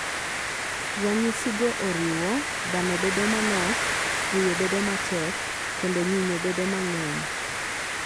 Ranyisigo oriwo: Dhano bedo manok, fuyo bedo matek, kendo nyinyo bedo mang'eny.